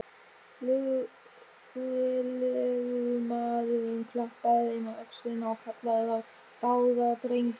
Lögreglumaðurinn klappaði þeim á öxlina og kallaði þá dáðadrengi.